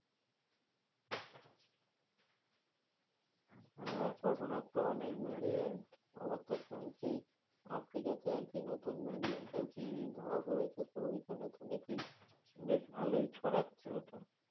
হ্যাঁ corona র তো অনেক variant? আবার তো শুনছি আফ্রিকাতে আরকি নতুন variant আরকি ধরা পড়েছে। তো ঐখানে শুনেছি বেশ ভালোই ছড়াচ্ছে ওটা।